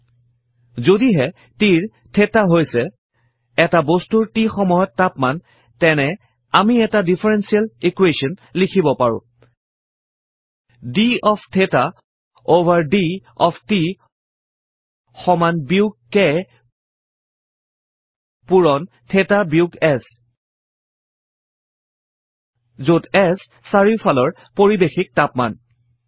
160 যদিহে t ৰ theta হৈছে এটা বস্তুৰ t সময়্ত তাপমান তেনেহলে আমি এটা ডিফাৰেনশিয়েল ইকোৱেশ্যন লিখিব পাৰো d of theta over d of t সমান বিয়োগ k পূৰণ থেতা বিয়োগ S যত S চাৰিওফালৰ পাৰিৱেশিক তাপমান